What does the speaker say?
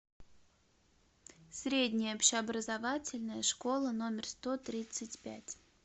средняя общеобразовательная школа номер сто тридцать пять